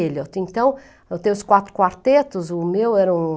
Eliot, então, eu tenho os quatro quartetos, o meu era um